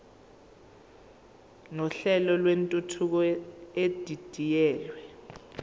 nohlelo lwentuthuko edidiyelwe